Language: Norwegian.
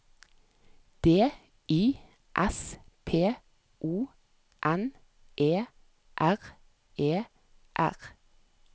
D I S P O N E R E R